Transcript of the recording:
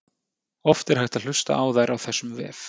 Oft er hægt að hlusta á þær á þessum vef.